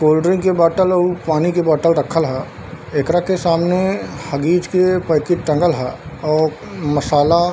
cold drink के bottle उ पानी के बॉटल रखल हई एकरा के सामने हगीज के पैकेट टाँगल हई और मसाला --